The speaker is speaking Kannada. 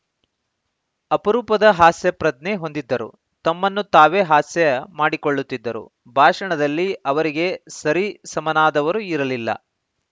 ಅಪರೂಪದ ಹಾಸ್ಯಪ್ರಜ್ಞೆ ಹೊಂದಿದ್ದರು ತಮ್ಮನ್ನು ತಾವೇ ಹಾಸ್ಯ ಮಾಡಿಕೊಳ್ಳುತ್ತಿದ್ದರು ಭಾಷಣದಲ್ಲಿ ಅವರಿಗೆ ಸರಿಸಮನಾದವರು ಇರಲಿಲ್ಲ